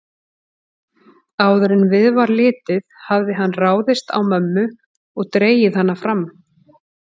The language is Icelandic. Áður en við var litið hafði hann ráðist á mömmu og dregið hana fram.